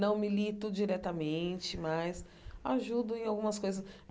Não milito diretamente, mas ajudo em algumas coisas.